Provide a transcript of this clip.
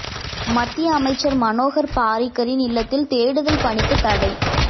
மத்திய அமைச்சர் மனோகர் பாரிக்கரின் இல்லத்தில் தேடுதல் பணிக்கு தடை